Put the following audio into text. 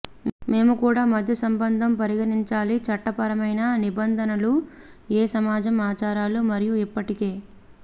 మేము కూడా మధ్య సంబంధం పరిగణించాలి చట్టపరమైన నిబంధనలను ఏ సమాజం ఆచారాలు మరియు ఇప్పటికే